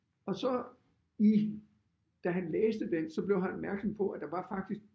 Og så i da han læste den så blev han opmærksom på at der var faktisk